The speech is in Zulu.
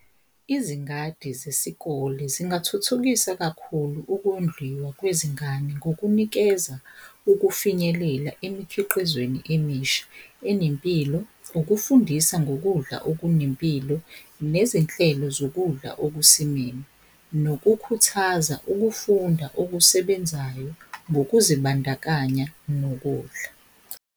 Izingadi zesikole zingathuthukisa kakhulu ukondliwa kwezingane ngokunikeza ukufinyelela emikhiqizweni emisha enempilo. Ukufundisa ngokudla okunempilo nezinhlelo zokudla okusimeme, nokukhuthaza ukufunda okusebenzayo ngokuzibandakanya nokudla.